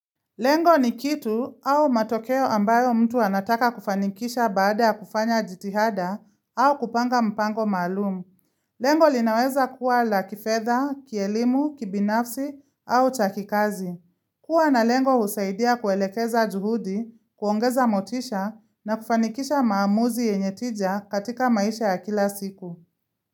Lengo ni kitu au matokeo ambayo mtu anataka kufanikisha baada ya kufanya jitihada au kupanga mpango maalum. Lengo linaweza kuwa la kifedha, kielimu, kibinafsi au chakikazi. Kua na lengo husaidia kuelekeza juhudi, kuongeza motisha na kufanikisha maamuzi yenye tija katika maisha ya kila siku.